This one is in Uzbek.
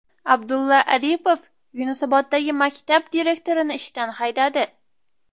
Abdulla Aripov Yunusoboddagi maktab direktorini ishdan haydadi.